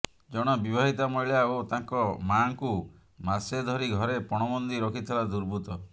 ଜଣେ ବିବାହିତା ମହିଳା ଓ ତାଙ୍କ ମାଆଙ୍କୁ ମାସେ ଧରି ଘରେ ପଣବନ୍ଦୀ ରଖିଥିଲା ଦୁର୍ବୃତ୍ତ